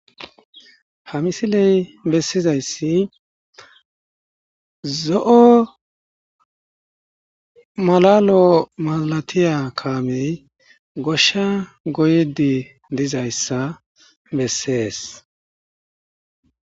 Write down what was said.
Ha misiley besizays zo'o mala lo'o malateya kamey gosha goyidi dizayisa beses